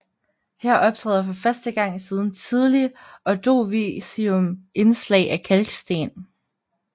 Her optræder for første gang siden Tidlig Ordovicium indslag af kalksten